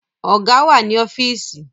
Ọ̀gá wà ní ọ́fíìsì